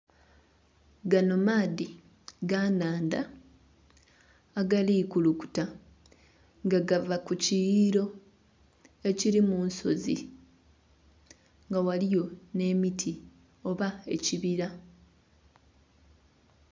Gano maadhi ga nnhandha agali kulukuta nga gava kukiyuyiriro ekiri munsozi nga ghaliyo n'emiti oba ekibira.